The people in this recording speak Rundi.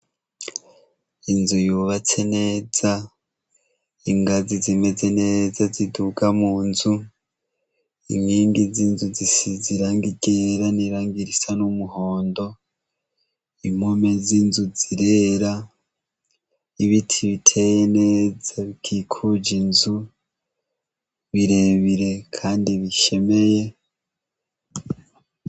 Inzu yubatse neza. Ingazi zimeze neza ziduga mu nzu. Inkingi z'inzu zisize irangi ryera n'irangi risa n'umuhondo. Impome z'inzu zirera. Ibiti biteye neza bikikuje inzu birebire kandi bishemeye.